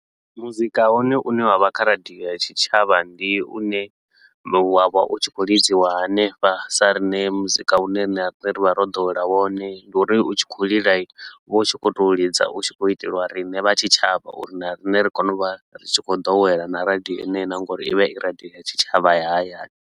Mudzika wone u ne wa vha kha radio ya tshitshavha ndi u ne wa vha u tshi khou lidziwa hanefha sa riṋe muzika u ne riṋe ra vha ro ḓowela wone. Ndi uri u tshi khou lila, u vha u tshi khou tou ḽidza u tshi khou iteliwa riṋe vha tshitshavha uri na riṋe ri kone u vha ri tshi khou ḓowela na radio ine na nga uri i vha i radio ya tshitshavha ya hayani.